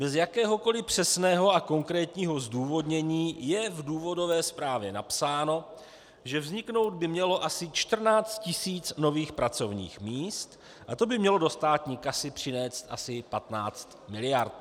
Bez jakéhokoli přesného a konkrétního zdůvodnění je v důvodové zprávě napsáno, že vzniknout by mělo asi 14 tisíc nových pracovních míst a to by mělo do státní kasy přinést asi 15 miliard.